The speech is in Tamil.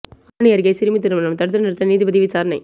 ஆரணி அருகே சிறுமி திருமணம் தடுத்து நிறுத்தம் நீதிபதி விசாரணை